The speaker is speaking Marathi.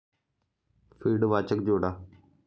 फीड वाचक जोडा